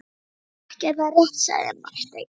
Ekki er það rétt, sagði Marteinn.